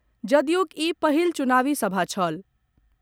जदयूक ई पहिल चुनावी सभा छल।